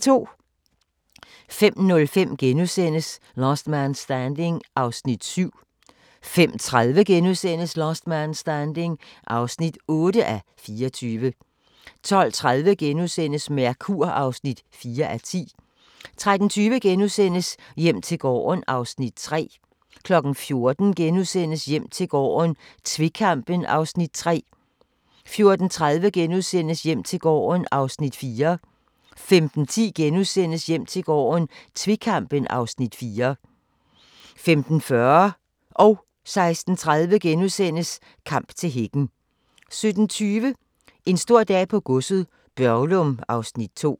05:05: Last Man Standing (7:24)* 05:30: Last Man Standing (8:24)* 12:30: Mercur (4:10)* 13:20: Hjem til gården (Afs. 3)* 14:00: Hjem til gården - tvekampen (Afs. 3)* 14:30: Hjem til gården (Afs. 4)* 15:10: Hjem til gården - tvekampen (Afs. 4)* 15:40: Kamp til hækken * 16:30: Kamp til hækken * 17:20: En stor dag på godset - Børglum (Afs. 2)